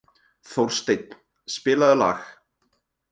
Þórsteinn, spilaðu lag.